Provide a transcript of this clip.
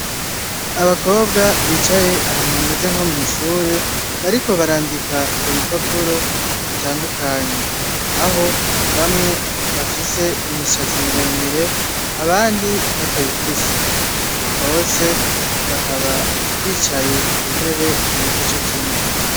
Abakobwa bicaye ahantu hameze nko mw' ishure bariko barandika ku bipapuro bitandukanye, aho bamwe bafise imishati miremire, abandi batayifise. Bose bakaba bicaye ku ntebe zimeze cokimwe.